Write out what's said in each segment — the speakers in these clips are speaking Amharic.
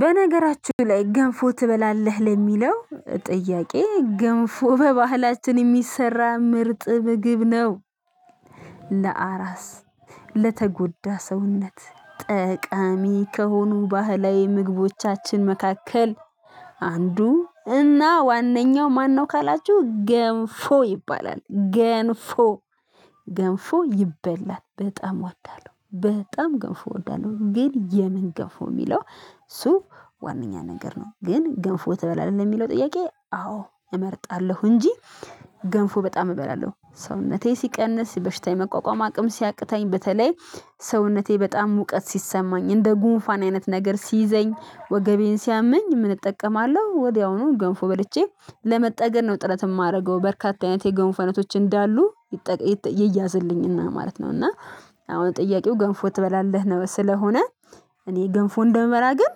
በነገራችሁ ላይ ገንፎ ትበላለህ ለሚለው ጥያቄ ገንፎ በባህላችን የሚሰራ ምርጥ ምግብ ነው። ለአራስ፣ ለተጎዳ ሰውነት ጠቃሚ ከሆኑ ባህላዊ ምግቦቻችን መካከል አንዱ እና ዋነኛው ማነው ካላችሁ ገንፎ ይባላል ገንፎ። ገንፎ ይበላል። በጣም እወዳለው። በጣም ገንፎ እወዳለው ግን የምን ገንፎ? የሚለው እሱ ዋነኛ ነገር ነው። ግን ገንፎ ትበላለህ ለሚለው ጥያቄ አዎ እመርጣለሁ እንጂ ገንፎ በጣም እበላለሁ። ሰውነቴ ሲቀንስ በሽታዬ መቋቋም አቅም ሲያቅታኝ በተለይ ሰውነቴ በጣም ሙቀት ሲሰማኝ፣ እንደ ጉንፋን አይነት ነገር ሲይዘኝ፣ ወገቤን ሲያመኝ ምን እጠቀማለሁ ወዲያውኑ ገንፎ በልቼ ለመጠገን ነው ጥረት የማደርገው። በርካታ አይነት የገንፎ አይነቶች እንዳሉ ይያዝልያኝ እና ማለት ነው እና አሁን ጥያቄው ገንፎ ትበላለህ? ነው ስለሆነ እኔ ገንፎ እንደምበላ ግን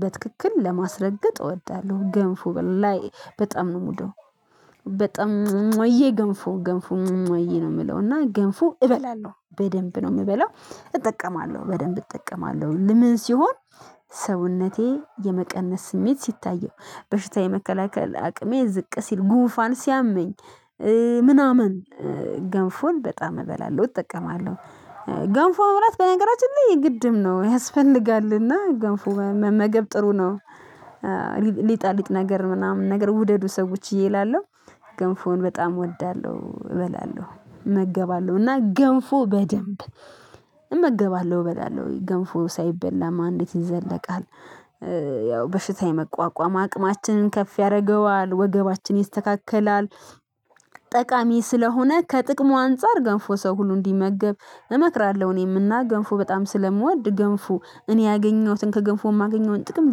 በትክክል ለማስረገጥ እወዳለሁ። ገንፎ በጣም ነው የምውደው። በጣም እሟሟዬ ገንፎ ገንፎ እሟሟዬ ነው የምለው እና ገንፎ እበላለሁ። በደንብ ነው የምበላው እጠቀማለሁ በደንብ እጠቀማለሁ። ምን ሲሆን ሰውነቴ የመቀነስ ስሜት ሲታየው፣ በሽታ የመከላከል አቅሜ ዝቅ ሲል፣ ጉንፋን ሲያመኝ ምናምን ገንፎን በጣም እበላለሁ እጠቀማለሁ ገንፎ መብላት በነገራችን ላይ የግድም ነው ያስፈልጋል እና ገንፎ መመገብ ጥሩ ነው። ሊጣልጥ ነገር ምናምን ነገር ውደዱ ሰዎች እየፈላላለሁ። ገንፎውን በጣም እወዳለሁ፣ እበላለሁ፣ እመገባለሁ እና ገንፎ በደንብ እመገባለሁ፣ እበላለሁ ገንፎ ሳይበላም አንዲት ይዘለቃል። ያው በሽታ የመቋቋም አቅማችንን ከፍ ያደርገዋል፣ ወገባችን ይስተካከላል። ጠቃሚ ስለሆነ ከጥቅሙ አንፃር ገንፎ ሰው ሁሉ እንዲመገብ እመክራለሁ እኔም እና ገንፎ በጣም ስለምወድ ገንፎ እኔ ያገኘሁትን ከገንፎ የማገኘውን ጥቅም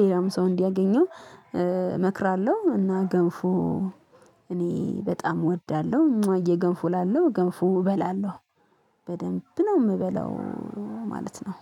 ሌላም ሰው እንዲያገኘው እመክራለሁ እና ገንፎ እኔ በጣም እወዳለሁ እሟዬ ገንፎ እላለሁ ገንፎ እበላለሁ። በደንብ ነው የምበለው ማለት ነው።